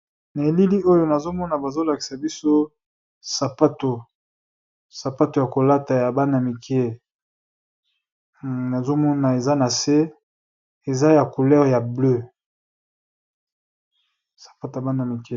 Na elili oyo nazo mona bazo lakisa biso sapato ya ko lata ya bana mike nazo mona eza na se eza ya couleur ya bleue .